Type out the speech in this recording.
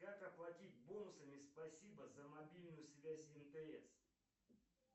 как оплатить бонусами спасибо за мобильную связь мтс